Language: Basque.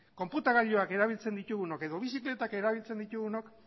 konputagailuak erabiltzen ditugunok edo bizikletak erabiltzen ditugunok